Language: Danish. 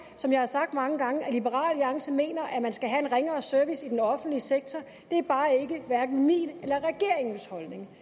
som jeg har sagt mange gange at liberal alliance mener at man skal have en ringere service i den offentlige sektor det er bare hverken min eller regeringens holdning